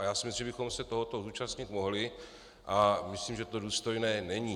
A já si myslím, že bychom se tohoto zúčastnit mohli, a myslím, že to důstojné není.